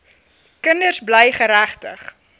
kinders bly geregtig